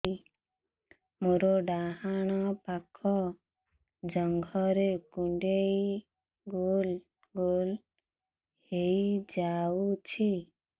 ମୋର ଡାହାଣ ପାଖ ଜଙ୍ଘରେ କୁଣ୍ଡେଇ ଗୋଲ ଗୋଲ ହେଇଯାଉଛି